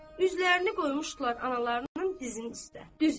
Üzlərini qoymuşdular analarının dizinin üstə.